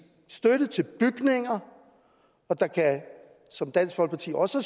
støtte til bygninger og der kan som dansk folkeparti også